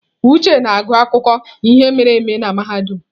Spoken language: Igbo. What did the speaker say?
Uche na-agụ akụkọ ihe mere eme na mahadum.